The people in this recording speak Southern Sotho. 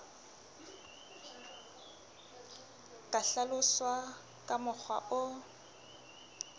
ka hlaloswa ka mokgwa o